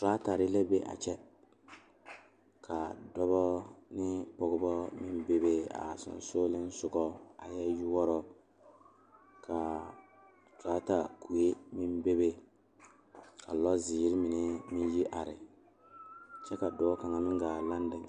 Tratara la biŋ ka noba are kɔŋ a bamine deɛ ba tangaare mire tratara kyɛ a tratare.